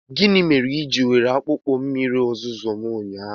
Gịnị mere i jiri were akpụkpọ ụkwụ mmiri ozuzo m ụnyaahụ?